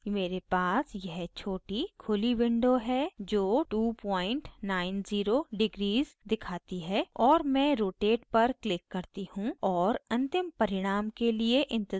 मेरे पास यह छोटी खुली window है जो 290 degrees दिखाती है और मैं rotate पर click करती हूँ और अंतिम परिणाम के लिए इंतज़ार करती हूँ